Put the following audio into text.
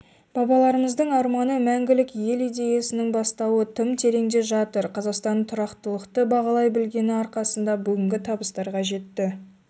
бабаларымыздың арманы мәңгілік елидеясының бастауы тым тереңде жатыр қазақстан тұрақтылықты бағалай білгені арқасында бүгінгі табыстарға жетті